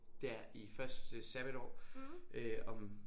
Der i første sabbatår øh om